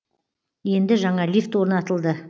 енді жаңа лифт орнатылды